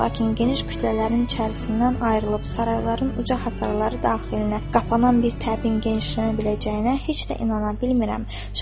Lakin geniş kütlələrin içərisindən ayrılıb sarayların uca hasarları daxilinə qapanan bir təbin genişlənə biləcəyinə heç də inana bilmirəm.